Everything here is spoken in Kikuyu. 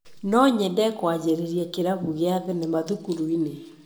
No nyende kũanjĩrĩria kĩrabu gĩa thenema thukuru-inĩ.